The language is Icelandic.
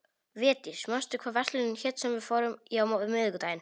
Védís, manstu hvað verslunin hét sem við fórum í á miðvikudaginn?